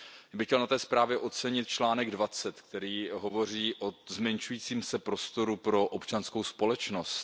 Já bych chtěl na té zprávě ocenit článek 20, který hovoří o zmenšujícím se prostoru pro občanskou společnost.